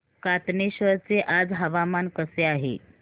कातनेश्वर चे आज हवामान कसे आहे